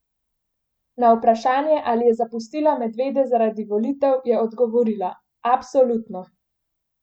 Na vprašanje ali je zapustila medvede zaradi volitev, je odgovorila: "Absolutno!